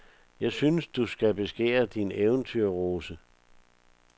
Jeg synes, du skal beskære din eventyrrose.